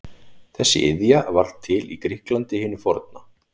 Þessi iðja varð til í Grikklandi hinu forna.